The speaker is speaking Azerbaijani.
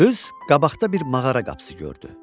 Qız qabaqda bir mağara qapısı gördü.